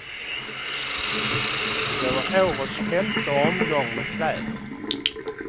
Det var årets femte omgång med kläder.